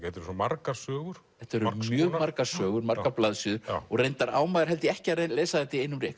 eru svo margar sögur þetta eru mjög margar sögur margar blaðsíður reyndar á maður held ég ekki að lesa þetta í einum rykk